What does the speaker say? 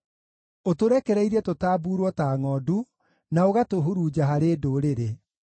Ũtũrekereirie tũtambuurwo ta ngʼondu, na ũgatũhurunja harĩ ndũrĩrĩ.